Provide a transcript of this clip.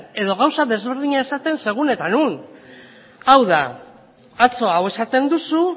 edo gauza ezberdina esaten segun eta non hau da atzo hau esaten duzu